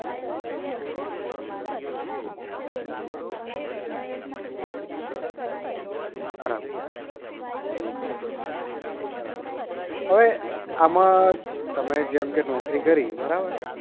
હમ બરાબર બરાબર અવે આમાં તમે જેમકે નોકરી કરી બરાબર